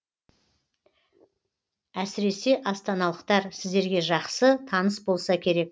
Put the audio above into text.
әсіресе астаналықтар сіздерге жақсы таныс болса керек